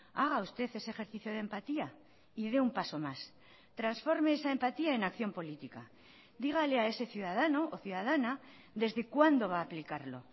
haga usted ese ejercicio de empatía y dé un paso más transforme esa empatía en acción política dígale a ese ciudadano o ciudadana desde cuándo va a aplicarlo